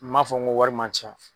N m'a fɔ ko wari man ca.